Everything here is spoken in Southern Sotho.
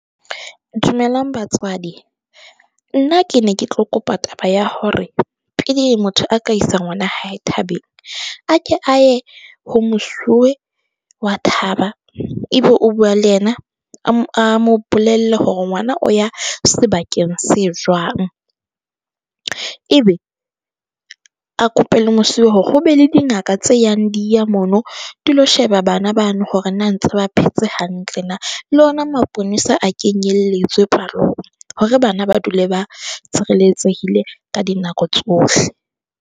Dumelang batswadi, nna ke ne ke tlo kopa taba ya hore pele motho a ka isa ngwana hae thabeleng. A ke a ye ho mosuwe wa thaba e be o bua le yena. A mo bolelle hore ngwana o ya sebakeng se jwang, e be a kope le mosuwe hore ho be le dingaka tse yang di ya mono dilo sheba bana bano hore na ntse ba phetse hantle na. Le ona maponesa a kenyelletswe palong hore bana ba dule ba tshireletsehile ka dinako tsohle.